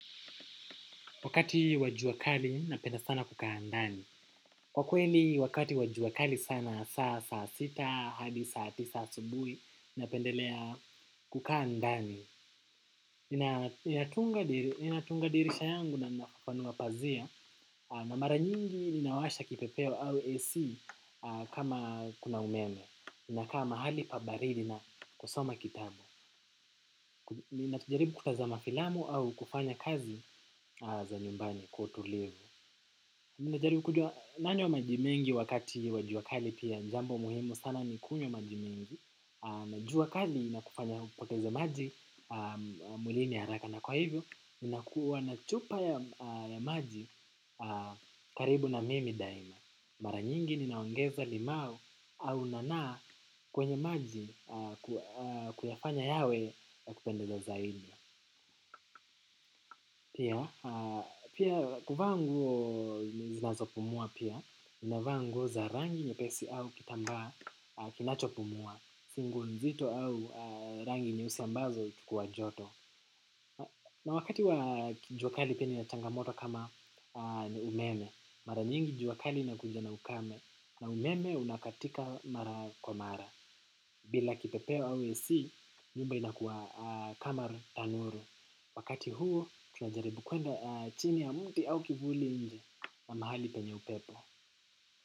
Wakati wa juakali napenda sana kukaa ndani. Kwa kweli wakati wa jua kali sana saa sita, hadi saa tisa asubuhi napendelea kukaa ndani. Ninatunga dirisha yangu na nafafanua pazia. Na mara nyingi ninawasha kipepeo au AC kama kuna umeme. Inakaa mahali pa baridi na kusoma kitabu. Inatujaribu kutazama filamu au kufanya kazi za nyumbani kwa utulivu ninajaribu. Nanywa maji mengi wakati wa jua kali pia ni jambo muhimu sana nikunywe maji mengi. Na jua kali inakufanya upoteze maji mwlini haraka na kwa hivyo. Ninakuwa na chupa ya maji karibu na mimi daima. Mara nyingi ninaongeza limau au nana kwenye maji kuyafanya yawe ya kupendeza zaidi. Pia, kuvaa nguo zinazopumua pia, ninavaa nguo za rangi nyepesi au kitambaa kinachopumua, si nguo nzito au rangi nyeusi ambazo huchukua joto. Na wakati wa juakali pia nina changamoto kama umeme, mara nyingi jua kali inakuja na ukame, na umeme unakatika mara kwa mara. Bila kipepeo au AC, nyumba inakuwa kama tanuru. Wakati huo, tunajaribu kwenda chini ya mti au kivuli nje na mahali penye upepo.